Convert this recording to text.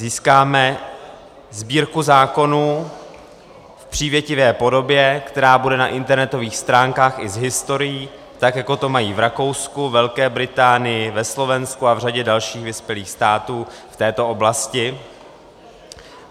Získáme Sbírku zákonů v přívětivé podobě, která bude na internetových stránkách i s historií, tak jako to mají v Rakousku, Velké Británii, na Slovensku a v řadě dalších vyspělých států v této oblasti.